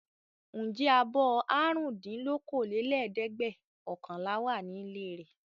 Ǹjẹ́ abọ́ àrùndínlókòólẹ́ẹ̀dẹ́gbẹ̀ọ̀kànlá wà nílé rẹ?